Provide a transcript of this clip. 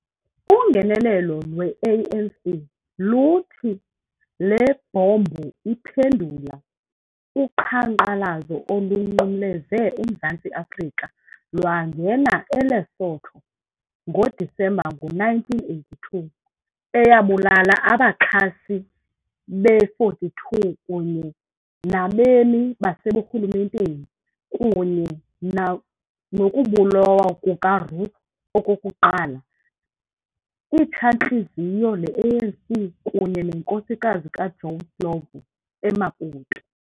Ungenelelo lwe-ANC luthi le bhombu iphendula uqhankqalazo olunqumleze eMzantsi-Afrika lwangena eLesotho ngoDisemba ngo-1982 eyabulala abaxhasi be-42 kunye nabemi baseburhulumenteni, kunye nokubulawa kukaRuth Okokuqala, Itshantliziyo le-ANC kunye nenkosikazi kaJoe Slovo, eMaputo.